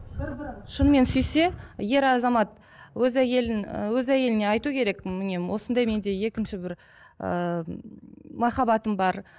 шынымен сүйсе ер азамат өз әйелін ы өз әйеліне айту керек міне осындай менде екінші бір ыыы махаббатым бар